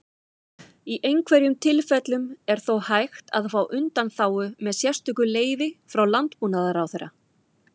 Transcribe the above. Í einhverjum tilfellum er þó hægt að fá undanþágu með sérstöku leyfi frá Landbúnaðarráðherra.